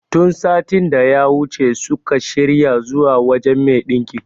Tun satin daya wuce suka shirya zuwa wajen me ɗinkin